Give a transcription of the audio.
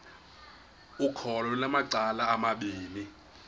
ukholo lunamacala amabini